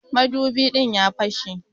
Madubi din ya fashe.